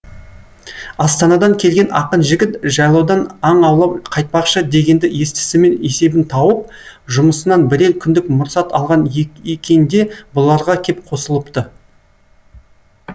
астанадан келген ақын жігіт жайлаудан аң аулап қайтпақшы дегенді естісімен есебін тауып жұмысынан бірер күндік мұрсат алған екен де бұларға кеп қосылыпты